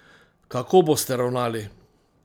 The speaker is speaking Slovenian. Kako boste ravnali?